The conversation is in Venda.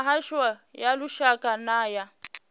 mihasho ya lushaka na ya